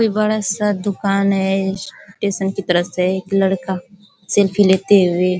ये बड़ा सा दूकान है। स्टेशन की तरफ से एक लड़का सेल्फ़ी लेते हुए --